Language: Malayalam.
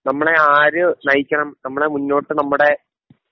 നമ്മളെ ആര് നയിക്കണം നമ്മുടെ മുന്നോട്ട് നമ്മുടെ